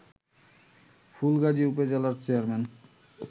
ফুলগাজী উপজেলা চেয়ারম্যান